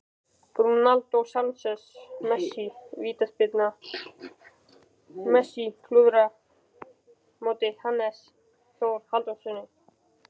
Vítaspyrna Messi?